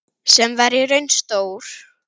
Sem var í raun stór